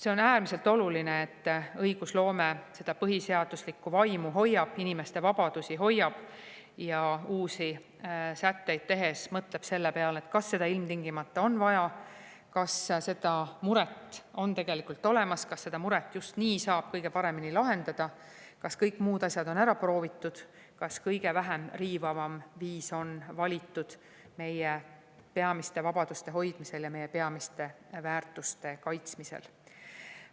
See on äärmiselt oluline, et õigusloome seda põhiseaduse vaimu hoiab, inimeste vabadusi hoiab ja me uusi sätteid tehes mõtleme, kas seda ilmtingimata on vaja, kas mingi mure ikka tegelikult olemas on ja kui on, siis kas seda muret just nii saab kõige paremini lahendada, kas kõik muud asjad on ära proovitud, kas kõige vähem riivav viis on valitud meie peamiste vabaduste hoidmiseks ja meie peamiste väärtuste kaitsmiseks.